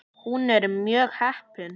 Hún er mjög heppin.